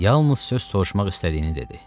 Yalnız söz soruşmaq istədiyini dedi.